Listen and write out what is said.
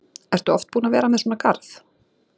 Ertu oft búin að vera með svona garð?